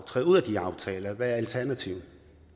træde ud af de aftaler for hvad er alternativet